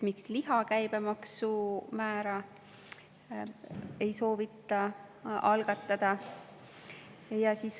Miks liha käibemaksu määra ei soovita alandada?